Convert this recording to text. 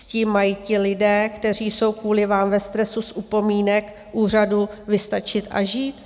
S tím mají ti lidé, kteří jsou kvůli vám ve stresu z upomínek úřadu, vystačit a žít?